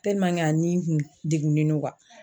a ni kun degunen don